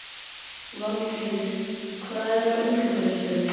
Valdheiður, hvað er á innkaupalistanum mínum?